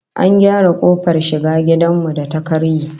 An gyara kofar shiga gidan mu da ta karye